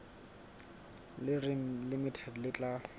le reng limited le tla